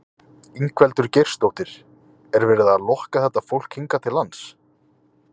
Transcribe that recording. Ingveldur Geirsdóttir: Er verið að lokka þetta fólk hingað til lands?